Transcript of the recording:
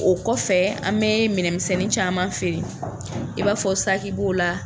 O kɔfɛ, an bɛ minɛnmisɛnnin caman feere i b'a fɔ saki b'o la.